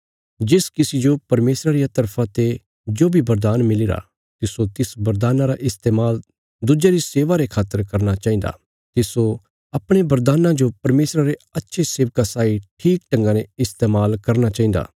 जिस किसी जो परमेशरा रिया तरफा ते जो बी बरदान मिलीरा तिस्सो तिस बरदान्ना रा इस्तेमाल दुज्यां री सेवा रे खातर करना चाहिन्दा तिस्सो अपणे बरदान्ना जो परमेशरा रे अच्छे सेवका साई ठीक ढंगा ने इस्तेमाल करना चाहिन्दा